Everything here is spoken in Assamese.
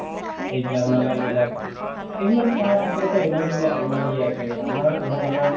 এইবিলাক মলাই বিলাক এইবিলাক তাৰ আচলতে এইবিলাকত মানে ইমান ই আছে আমাৰ ধৰক আমাৰ